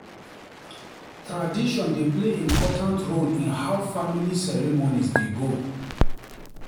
Tradition dey play important role in how family ceremonies dey go.